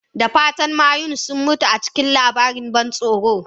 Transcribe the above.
Da fatan mayu sun mutu a karshen labarin ban tsoro?